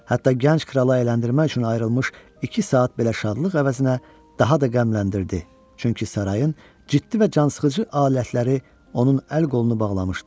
Hətta gənc kralı əyləndirmək üçün ayrılmış iki saat belə şadlıq əvəzinə daha da qəmləndirdi, çünki sarayın ciddi və cansıxıcı alətləri onun əl-qolunu bağlamışdı.